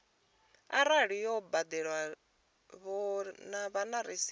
arali yo badelwa vho wana rasithi